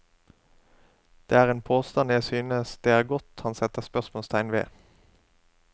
Det er en påstand jeg synes det er godt han setter spørsmålstegn ved.